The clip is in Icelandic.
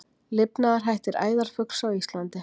Lifnaðarhættir æðarfugls á Íslandi